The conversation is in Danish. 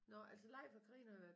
Nåh altså Leif og Karina har været